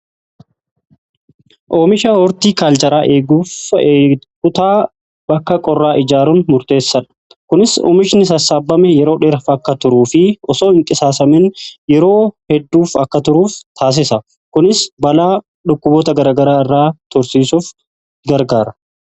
Oomisha hortikaalchraa eeguuf kutaa bakka qorraa ijaaruun murteessaadha. Kunis oomishni sassaabame yeroo dheeraf akka turuu fi osoo hin qisaasamiin yeroo hedduuf akka turuuf taasisa. Kunis balaa dhukkuboota gara garaa irraa tursiisuuf gargaara.